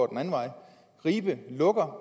den anden vej og ribe lukker